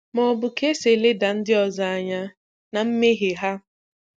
Ma ọ bụ ka esi eleda ndị ọzọ anya na mmehie ha.